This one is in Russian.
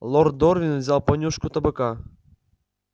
лорд дорвин взял понюшку табака